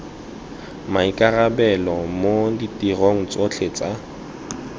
maikarabelo mo ditirong tsotlhe tsa